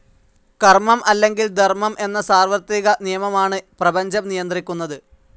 കർമ്മം അല്ലെങ്കിൽ ധർമ്മം എന്ന സാർവത്രിക നിയമമാണ് പ്രപഞ്ചം നിയന്ത്രിക്കുന്നത്.